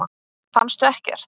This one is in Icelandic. Fannstu ekkert?